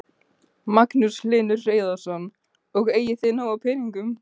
Magnús Hlynur Hreiðarsson: Og eigið þið nóg af peningum?